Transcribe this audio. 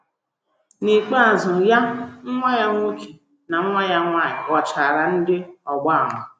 N’ikpeazụ, ya, nwa ya nwoke, na nwa ya nwanyị ghọchara ndị ọgba ama.